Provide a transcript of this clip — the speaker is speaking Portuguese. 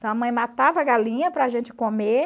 Então a mãe matava a galinha para a gente comer.